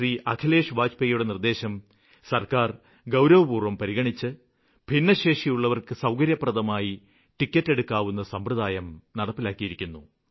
അഖിലേഷ് വാജ്പേയിയുടെ നിര്ദ്ദേശം സര്ക്കാര് ഗൌരവപൂര്വ്വം പരിഗണിച്ച് ഭിന്നശേഷിയുള്ളവര്ക്ക് സൌകര്യപ്രദമായി ടിക്കറ്റെടുക്കാവുന്ന സമ്പ്രദായം നടപ്പിലാക്കിയിരിക്കുന്നു